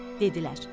Dedilər: